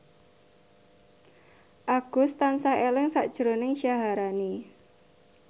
Agus tansah eling sakjroning Syaharani